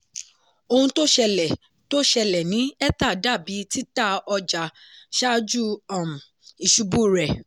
ohun tó ṣẹlẹ̀ tó ṣẹlẹ̀ ní ether dàbí títà ọjà ṣáájú um ìṣubú rẹ̀.